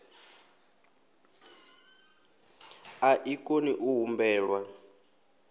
a i koni u humbelwa